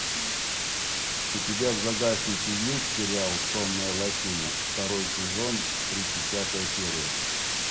у тебя в загашнике есть сериал сонная лощина второй сезон тридцать пятая серия